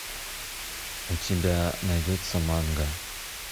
у тебя найдется манга